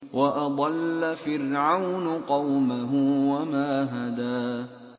وَأَضَلَّ فِرْعَوْنُ قَوْمَهُ وَمَا هَدَىٰ